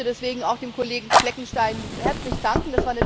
Ich möchte deswegen auch dem Kollegen Fleckenstein herzlich danken.